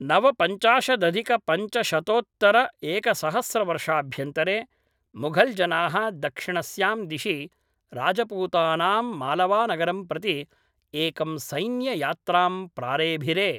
नवपञ्चाशदधिकपञ्चशतोतत्तरएकसहस्रवर्षाभ्यन्तरे मुघल् जनाः दक्षिणस्यां दिशि राजपूतानामालवानगरं प्रति एकं सैन्ययात्रां प्रारेभिरे